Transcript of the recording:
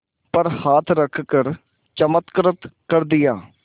पर हाथ रख चमत्कृत कर दिया